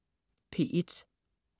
P1: